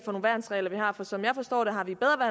nogle værnsregler vi har for som jeg forstår det har vi bedre